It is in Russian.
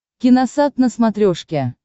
киносат на смотрешке